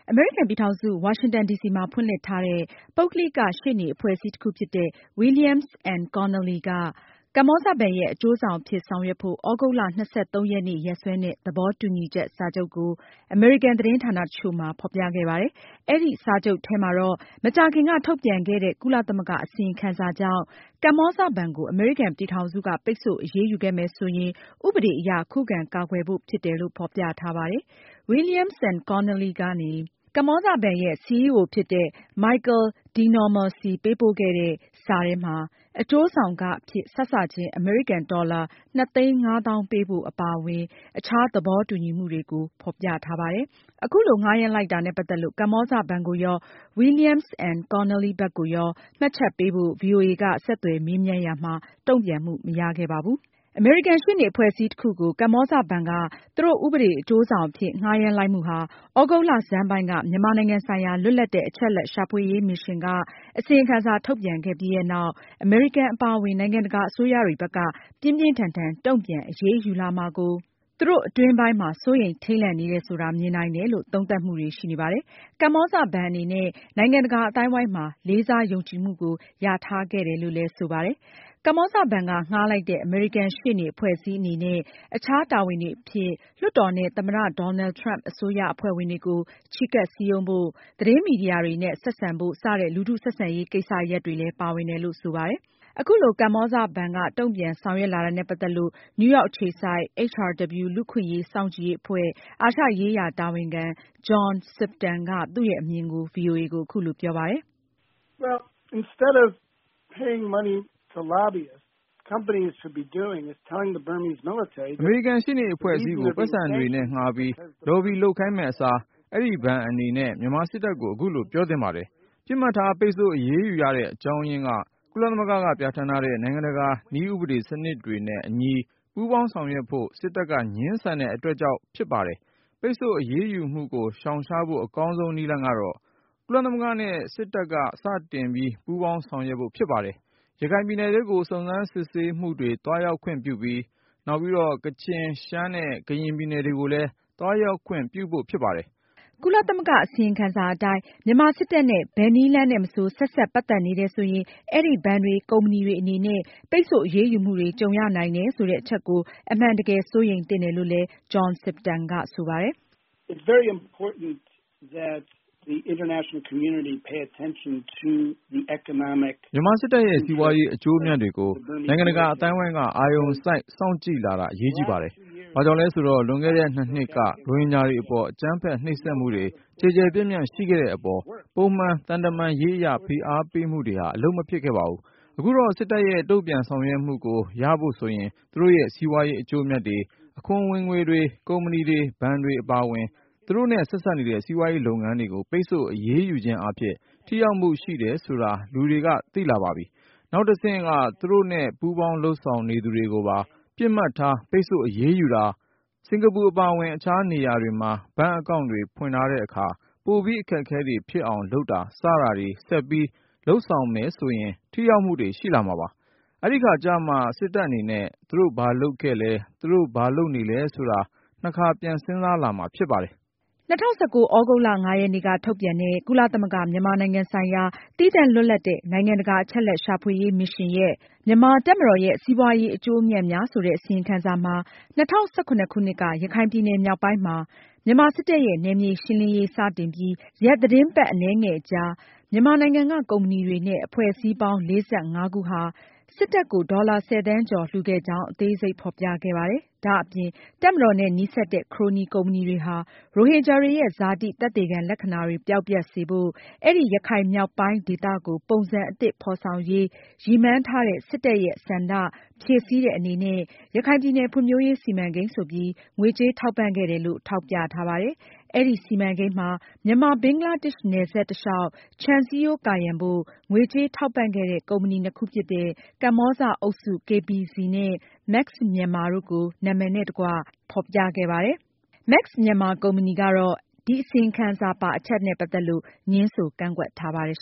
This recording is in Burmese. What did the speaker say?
အမေရိကန်ပြည်ထောင်စု ဝါရှင်တန်ဒီစီမှာ ဖွင့်လှစ်ထားတဲ့ ပုဂ္ဂလိက ရှေ့နေအဖွဲ့အစည်း တခုဖြစ်တဲ့ Williams & Connolly LLP က ကမ္ဘောဇဘဏ်ရဲ့ အကျိုးဆောင် အဖြစ်ဆောင်ရွက်ဖို့ သြဂုတ်လ (၂၃)ရက်နေ့ ရက်စွဲနဲ့ သဘောတူညီချက် စာချုပ်ကို အမေရိကန်သတင်းဌာန တချို့မှာ ဖေါ်ပြခဲ့ပါတယ်။ အဲဒီစာချုပ်ထဲမှာတော့ မကြာခင်က ထုတ်ပြန်ခဲ့တဲ့ ကုလသမဂ္ဂ အစီရင်ခံစာကြောင့် ကမ္ဘောဇဘဏ်ကို အမေရိကန်ပြည် ထောင်စုက ပိတ်ဆို့အရေးယူခဲ့မယ်ဆိုရင် ဥပဒေအရ ခုခံကာကွယ်ဖို့ ဖြစ်တယ်လို့ ဖေါ်ပြထားပါတယ်။ Williams & Connolly LLP ကနေ ကမ္ဘောဇဘဏ်ရဲ့ CEO ဖြစ်တဲ့ Michael DeNoma ဆီ ပေးပို့ခဲ့တဲ့ စာထဲမှာ အကျိုးဆောင်ခ အဖြစ် စစချင်း အမေရိကန် ဒေါ်လာ ၂၅၀,၀၀၀ ပေးဖို့ အပါအဝင် အခြားသဘောတူညီမှုတွေကို ဖေါ်ပြထားပါတယ်။ အခုလို ငှားရမ်းလိုက်တာနဲ့ ပတ်သက်လို့ ကမ္ဘောဇဘဏ်ကိုရော၊ William & Connolly ဘက်ကိုရော မှတ်ချက်ပေးဖို့ ဗွီအိုအေက ဆက်သွယ်မေးမြန်းရာမှာ တုန့်ပြန်မှု မရခဲ့ပါဘူး။ အမေရိကန် ရှေ့နေအဖွဲ့အစည်းတခုကို ကမ္ဘောဇဘဏ်က သူတို့ ဥပဒေအကျိုးဆောင်အဖြစ် ငှားရမ်းလိုက်မှုဟာ သြဂုတ်လဆန်းပိုင်းက မြန်မာနိုင်ငံဆိုင်ရာ လွတ်လပ်တဲ့ အချက်အလက်ရှာဖွေရေးမစ်ရှင်းကအစီရင်ခံစာထုတ်ပြန်ခဲ့ပြီးနောက် အမေရိကန်အပါအဝင် နိုင်ငံတကာ အစိုးရတွေဘက်က ပြင်းပြင်းထန်ထန် တုန့်ပြန်အရေးယူလာမှာကို သူတို့ အတွင်းပိုင်းမှာ စိုးရိမ်ထိတ်လန့်နေတယ်ဆိုတာ မြင်နိုင်တယ်လို့ သုံးသပ်မှုတွေ ရှိနေပါတယ်။ ကမ္ဘောဇဘဏ်အနေနဲ့ နိုင်ငံတကာအသိုင်းအဝိုင်းမှာ လေးစားယုံကြည်မှုကို ရထားခဲ့တယ်လို့လည်းဆိုပါတယ်။ ကမ္ဘောဇဘဏ်က ငှားလိုက်တဲ့ အမေရိကန်ရှေ့နေ အဖွဲ့ အစည်းအနေနဲ့ အခြား တာဝန်တွေအဖြစ်လွှတ်တော်နဲ့ သမ္မတ Donald Trump အစိုးရအဖွဲ့ဝင်တွေကို ချဉ်းကပ် စည်းရုံးဖို့၊ သတင်းမီဒီယာတွေနဲ့ ဆက်ဆံဖို့ စတဲ့ လူထုဆက်ဆံရေး ကိစ္စရပ်တွေလည်း ပါဝင်တယ်လို့ ဆိုပါတယ်။ အခုလို ကမ္ဘောဇဘဏ်ဘက်က တုန့်ပြန်ဆောင်ရွက်လာတာနဲ့ ပတ်သက်လို့ နယူးရောက်အခြေစိုက် HRW လူ့အခွင့်အရေးစောင့်ကြည့်ရေးအဖွဲ့ အာရှရေးရာတာဝန်ခံ John Sifton က သူရဲ့အမြင်ကို ဗွီအိုအေကို အခုလိုပြောပါတယ်။ “အမေရိကန်ရှေ့နေအဖွဲ့အစည်းကို ပိုက်ဆံတွေနဲ့ငှားပြီး လော်ဘီလုပ်ခိုင်းမယ့်အစား အဲဒီဘဏ်အနေနဲ့ မြန်မာစစ်တပ်ကို အခုလို ပြောသင့်ပါတယ်။ ပစ်မှတ်ထား ပိတ်ဆို့အရေးယူရတဲ့ အကြောင်းအရင်းက- ကုလသမဂ္ဂက ပြဌာန်းထားတဲ့ နိုင်ငံတကာ နည်းဥပဒေစနစ်တွေနဲ့ အညီ ပူးပေါင်းဆောင်ရွက်ဖို့ စစ်တပ်က ငြင်းဆန်တဲ့အတွက် ကြောင့် ဖြစ်ပါတယ်။ ပိတ်ဆို့အရေးယူမှုကို ရှောင်ရှားဖို့ အကောင်းဆုံး နည်းလမ်းကတော့ ကုလသမဂ္ဂနဲ့ စစ်တပ်က စတင်ပြီးပူးပေါင်း ဆောင်ရွက်ဖို့ဖြစ်ပါတယ်။ ရခိုင်ပြည်နယ်ထဲကို စုံစမ်းစစ်ဆေးရေးမှူးတွေ သွားရောက်ခွင့်ပြုဖို့၊ နောက် ကချင်၊ ရှမ်းနဲ့ ကရင် ပြည်နယ်တွေ ကိုလည်း သွားရောက်ခွင့်ပြုဖို့ ဖြစ်ပါတယ်။” ကုသလမဂ္ဂအစီရင်ခံစာအတိုင်းမြန်မာစစ်တပ်နဲ့ ဘယ်နည်းလမ်းနဲ့ မဆို ဆက်စပ်ပတ် သက်နေ တယ်ဆိုရင် အဲဒီ ဘဏ်တွေ၊ ကုမ္ပဏီတွေအနေနဲ့ ပိတ်ဆို့အရေးယူမှုတွေ ကြုံရနိုင်တယ်ဆိုတဲ့ အချက်ကိုအမှန်တကယ် စိုးရိမ်သင့်တယ်လို့လည်း John Sifton က ဆိုပါတယ်။ “မြန်မာစစ်တပ်ရဲ့ စီးပွားရေး အကျိုးအမြတ်တွေကို နိုင်ငံတကာ အသိုင်းအဝိုင်းက အာရုံစိုက် စောင့်ကြည့်လာတာ အရေးကြီးပါတယ်။ ဘာကြောင့်လဲဆိုတော့ လွန်ခဲ့တဲ့ နှစ်နှစ်က ရိုဟင်ဂျာတွေအပေါ် အကြမ်းဖက်နှိပ်စက်မှုတွေ ကျယ်ကျယ်ပြန့်ပြန့်ရှိခဲ့တဲ့ အပေါ် ပုံမှန် သံတမန်ရေးအရ ဖိအားပေးမှုတွေဟာ အလုပ်မဖြစ်ခဲ့ပါဘူး။ အခုတော့ စစ်တပ်ရဲ့ တုန့်ပြန်ဆောင်ရွက်မှုကို ရဖို့ဆိုရင် သူတို့ရဲ့ စီးပွားရေး အကျိုးအမြတ်တွေ၊ အခွန်ဝင်ငွေတွေ၊ ကုမ္ပဏီတွေ၊ ဘဏ်တွေ အပါအဝင် သူတို့နဲ့ ဆက်စပ်နေတဲ့ စီးပွားရေးလုပ်ငန်းတွေကို ပိတ်ဆို့အရေးယူခြင်းအားဖြင့် ထိရောက်မှုရှိတယ်ဆိုတာ လူတွေက သိလာပါပြီ။ နောက်တဆင့် သူတို့နဲ့ ပူးပေါင်းလုပ်ဆောင်နေသူတွေကိုပါ ပစ်မှတ်ထား ပိတ်ဆို့အရေးယူတာ၊ စင်္ကာပူအပါအဝင် အခြားနေရာတွေမှာ ဘဏ်အကောင့်တွေ ဖွင့်တဲ့အခါ ပိုပြီး အခက်အခဲတွေ ဖြစ်အောင်လုပ်တာ စတာတွေ ဆက်ပြီးလုပ်ဆောင်မယ်ဆိုရင် ထိရောက်မှုတွေရှိလာမှာပါ။ အဲဒီအခါကျမှ စစ်တပ်အနေနဲ့ သူတို့ ဘာလုပ်ခဲ့လဲ၊ သူတို့ ဘာလုပ်နေလဲဆိုတာ နှစ်ခါပြန်စဉ်းစားလာမှာ ဖြစ်ပါတယ်။” ၂၀၁၉ သြဂုတ်လ (၅)ရက်နေ့က ထုတ်ပြန်တဲ့ ကုလသမဂ္ဂ မြန်မာနိုင်ငံဆိုင်ရာ သီးသန့်လွတ်လပ်တဲ့ နိုင်ငံတကာ အချက်အလက်ရှာဖွေရေး မစ်ရှင်းရဲ့ “မြန်မာတပ်မတော်ရဲ့ စီးပွားရေး အကျိုးအမြတ်များ” ဆိုတဲ့ အစီရင်ခံစာမှာ ၂၀၁၇ခုနှစ်က ရခိုင်ပြည်နယ်မြောက်ပိုင်းမှာ မြန်မာစစ်တပ်ရဲ့ နယ်မြေရှင်းလင်းရေး စတင်ပြီး ရက်သတင်းပတ်အနည်းငယ်အကြာ မြန်မာနိုင်ငံက ကုမ္ပဏီတွေနဲ့ အဖွဲ့အစည်းပေါင်း (၄၅)ခုဟာ စစ်တပ်ကို ဒေါ်လာ (၁၀)သန်းကျော်လှုခဲ့ကြောင်း အသေးစိတ်ဖေါ်ပြခဲ့ပါတယ်။ ဒါအပြင် တပ်မတော်နဲ့ နီးစပ်တဲ့ ခရိုနီကုမ္ပဏီတွေဟာ ရိုဟင်ဂျာတွေ ရဲ့ ဇာတိ သက်သေခံလက္ခဏာတွေ ပျောက်ပျက်စေဖို့၊ အဲဒီရခိုင်မြောက်ပိုင်း ဒေသကို ပုံစံအသစ် ဖေါ်ဆောင်ရေး ရည်မှန်းထားတဲ့ စစ်တပ်ရဲ့ ဆန္ဒဖြည့်ဆည်းတဲ့ အနေနဲ့ ရခိုင်ပြည်နယ် ဖွံဖြိုးရေးစီမံကိန်းဆိုပြီး ငွေကြေးထောက်ပံ့ခဲ့တယ်လို့ ထောက်ပြထားပါတယ်။ အဲဒီစီမံကိန်းမှာ မြန်မာ-ဘင်္ဂလားဒေ့ရှ်နယ်စပ် တလျောက်ခြံစည်းရိုးကာရန်ဖို့ ငွေကြေးထောက်ပံ့ခဲ့တဲ့ ကုမ္ပဏီနှစ်ခုဖြစ်တဲ့ ကမ္ဘောဇအုပ်စု (KBZ)နဲ့ မက်စ်မြန်မာ (Max Myanmar) တို့ကို နာမည်နဲ့တကွ အစီရင်ခံစာမှာ ဖေါ်ပြခဲ့ပါတယ်။ မက်စ်မြန်မာကုမ္ပဏီကတော့ ဒီအစီရင်ခံစာပါအချက်နဲ့ပတ်သက်လို့ ငြင်းဆိုကန့်ကွက်ထားပါတယ်